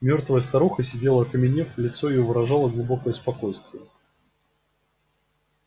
мёртвая старуха сидела окаменев лицо её выражало глубокое спокойствие